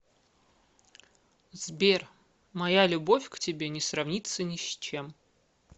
сбер моя любовь к тебе не сравнится ни с чем